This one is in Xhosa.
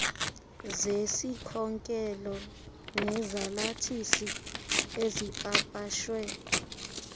zesikhokelo nezalathisi ezipapashwe